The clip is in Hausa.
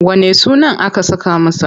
Wanne sunan aka saka masa?